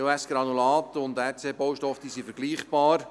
EOS-Granulat und RC-Baustoffe sind vergleichbar.